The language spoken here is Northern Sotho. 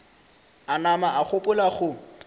a nama a gopola go